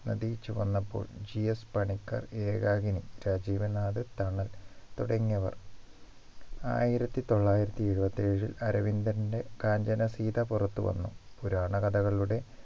നദി ചുവന്നപ്പോൾ GS പണിക്കർ ഏകാകിനി രാജീവ് നാഥ് തണൽ തുടങ്ങിയവർ ആയിരത്തി തൊള്ളായിരത്തി എഴുപത്തി ഏഴിൽ അരവിന്ദൻറെ കാഞ്ചനസീത പുറത്തു വന്നു പുരാണകഥകളുടെ